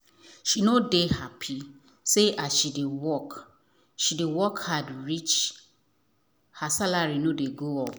she nor dey happy say as she dey work she dey work hard reach her salary nor dey go up.